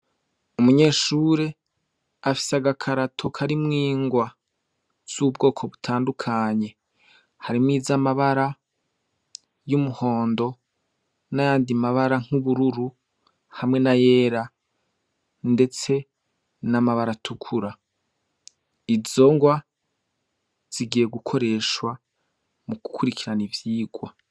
Umunyeshure afise agakarato karimwo ingwa z’ubwoko butandukanye hamwo izamabara y’umuhondo nayandi mabara nk’ubururu hamwe nayera ndetse n’amabara atukura izo ngwa zigiye gukoreshwa mu gukurikirana ivyigwa.